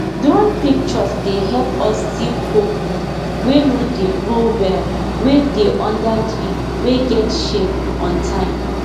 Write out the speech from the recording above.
drone picture dey help us see cocoa wey no dey grow well wey dey under tree wey get shade on time